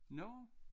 Nå?